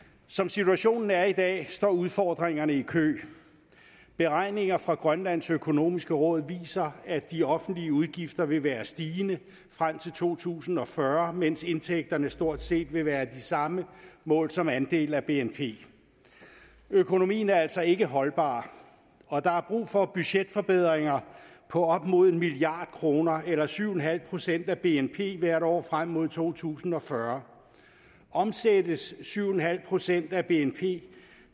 som situationen er i dag står udfordringerne i kø beregninger fra grønlands økonomiske råd viser at de offentlige udgifter vil være stigende frem til to tusind og fyrre mens indtægterne stort set vil være de samme målt som andel af bnp økonomien er altså ikke holdbar og der er brug for budgetforbedringer på op imod en milliard kroner eller syv en halv procent af bnp hvert år frem mod to tusind og fyrre omsættes syv en halv procent af bnp